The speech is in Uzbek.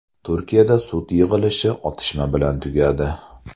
Turkiyada sud yig‘ilishi otishma bilan tugadi.